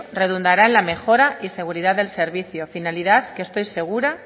redundará en la mejora y seguridad del servicio finalidad que estoy segura